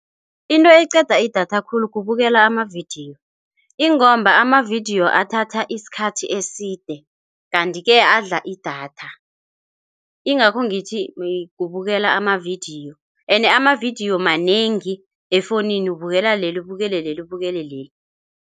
Into eqeda idatha khulu kubukela amavidiyo ingomba amavidiyo athatha isikhathi eside, kanti-ke adla idatha. Ingakho ngithi kubukela amavidiyo ene amavidiyo manengi efowunini ubukela leli, ubukele leli, ubukele leli.